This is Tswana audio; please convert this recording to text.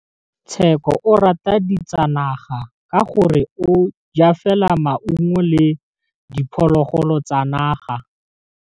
Tshekô o rata ditsanaga ka gore o ja fela maungo le diphologolo tsa naga.